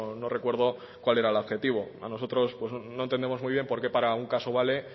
no recuerdo cuál era el adjetivo a nosotros no entendemos muy bien porque para un caso vale